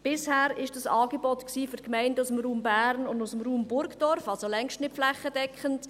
Bisher war dieses Angebot für Gemeinden aus dem Raum Bern und dem Raum Burgdorf, also längst nicht flächendeckend.